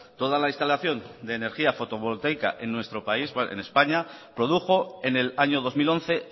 toda la instalación de energía fotovoltaica en nuestro país en españa produjo en el año dos mil once